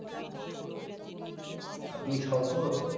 আপনি সৈকত?